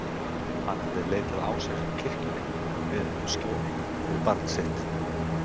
Hann hafði leitað ásjár hjá kirkjunni og beðið um skjól fyrir barn sitt.